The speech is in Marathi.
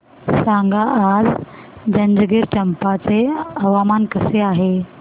सांगा आज जंजगिरचंपा चे हवामान कसे आहे